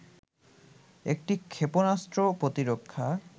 একটি ক্ষেপণাস্ত্র প্রতিরক্ষা